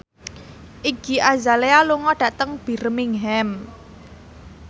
Iggy Azalea lunga dhateng Birmingham